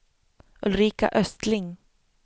Ulrika Östling